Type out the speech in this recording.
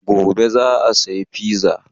Gobe za saya fiza